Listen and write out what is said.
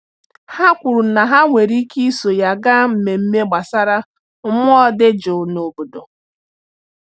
Ha kwuru na ha nwere ike iso ya gaa mmemme gbasara mmụọ dị jụụ n’obodo.